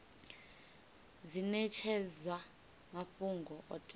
dzi netshedzwa mafhungo o teaho